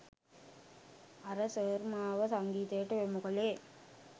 අර සර් මාව සංගීතයට යොමු කළේ